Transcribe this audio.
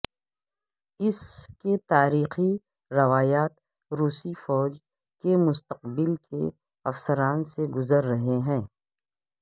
اس کے تاریخی روایات روسی فوج کے مستقبل کے افسران سے گزر رہے ہیں